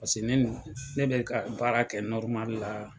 Pase neno ne bɛ ka baarakɛ la.